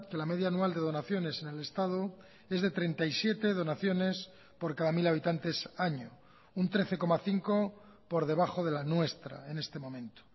la media anual de donaciones en el estado es de treinta y siete donaciones por cada mil habitantes año un trece coma cinco por debajo de la nuestra en este momento